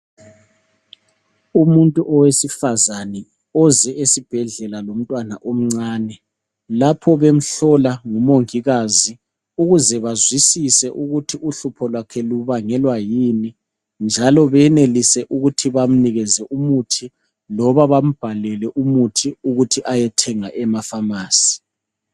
Umuntu owesifazane oze esibhedlela lomntwana omncane, lapho bemhlola nguMongikazi ukuze bazwisise ukuthi uhlupho lwakhe lubangelwa yini?, njalo beyenelise ukuthi bamnike umuthi loba bambhalele ukuthi ayethenga eFamasi.